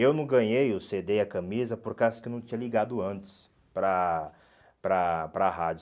Eu não ganhei o cê dê e a camisa por causa que eu não tinha ligado antes para para para a rádio.